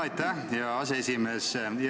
Aitäh, hea aseesimees!